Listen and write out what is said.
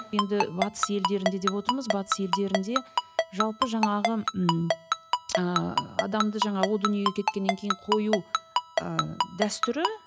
енді батыс елдерінде деп отырмыз батыс елдерінде жалпы жаңағы ммм ыыы адамды жаңа о дүниеге кеткеннен кейін қою ы дәстүрі